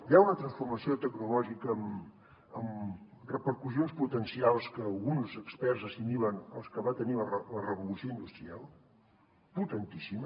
hi ha una transformació tecnològica amb repercussions potencials que alguns experts assimilen als que va tenir la revolució industrial potentíssima